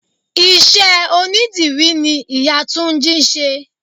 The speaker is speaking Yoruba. Ìṣe onidírì ni ìyá túnjí ń ṣe.